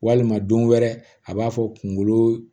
Walima don wɛrɛ a b'a fɔ kungolo